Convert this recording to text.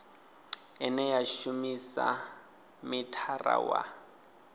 ine ya shumisa mithara wa